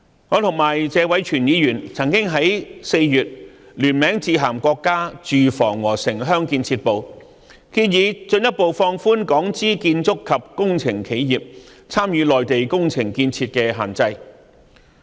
我與謝偉銓議員曾經在4月聯名致函國家住房和城鄉建設部，建議進一步放寬港資建築及工程企業參與內地工程建設的限制。